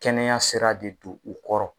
Kɛnɛya sera de d'u kɔrɔ.